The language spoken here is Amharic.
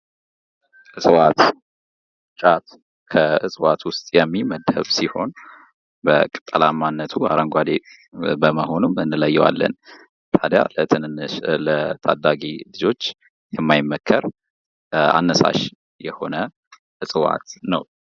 እጽዋት ጫት ከእጽዋት ውስጥ የሚመደብ ሲሆን በቅጠላማ እነቱ አረንጓዴ በመሆኑም እንለየዋለን። ታዲያ ለትንንሽ ለታዳጊ ልጆች የማይመከር አነሳሽ የሆነ እጽዋት ነው።